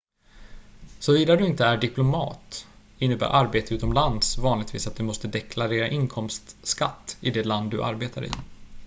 såvida du inte är diplomat innebär arbete utomlands vanligtvis att du måste deklarera inkomstskatt i det land du arbetar i